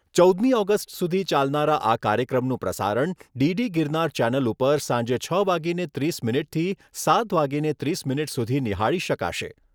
ચૌદમી ઓગસ્ટ સુધી ચાલનારા આ કાર્યક્રમનું પ્રસારણ ડીડી ગિરનાર ચેનલ ઉપર સાંજે છ વાગીને ત્રીસ મિનિટથી સાત વાગીને ત્રીસ મિનિટ સુધી નિહાળી શકાશે.